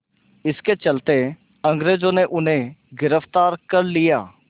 इसके चलते अंग्रेज़ों ने उन्हें गिरफ़्तार कर लिया